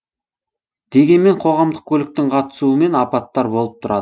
дегенмен қоғамдық көліктің қатысуымен апаттар болып тұрады